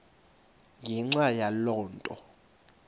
ngenxa yaloo nto